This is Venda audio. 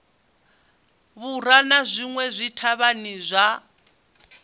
vhura na zwinwe zwithavhani zwa